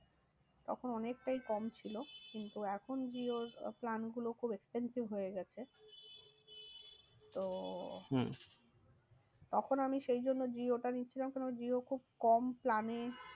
তখন অনেকটাই কম ছিল। কিন্তু এখন জিওর plan গুলো খুব expensive হয়ে গেছে। তো হম তখন আমি সেই জন্য জিওটা নিয়েছিলাম কারণ জিও খুব কম plan এ